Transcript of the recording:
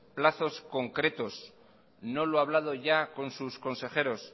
plazos concretos no lo ha hablamos ya con sus consejeros